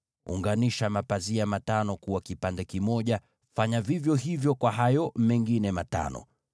Unganisha mapazia matano pamoja; fanya vivyo hivyo kwa hayo mengine matano.